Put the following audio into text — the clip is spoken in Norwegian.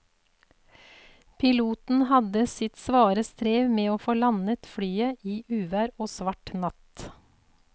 Piloten hadde sitt svare strev med å få landet flyet i uvær og svart natt.